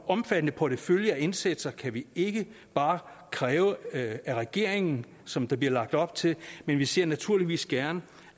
omfattende portefølje af indsatser kan vi ikke bare kræve af regeringen som der bliver lagt op til men vi ser naturligvis gerne